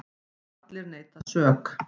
Allir neita sök.